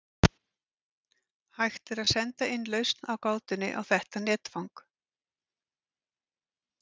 Hægt er að senda inn lausn á gátunni á þetta netfang.